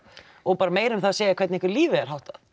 og bara meira um það að segja hvernig ykkar lífi er háttað